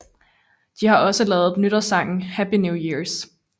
De har også lavet nytårssangen Happy New Years